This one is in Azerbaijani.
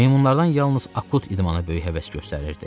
Meymunlardan yalnız Akut idmana böyük həvəs göstərirdi.